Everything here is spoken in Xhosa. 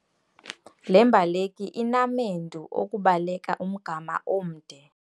Le mbaleki inamendu okubaleka umgama omde.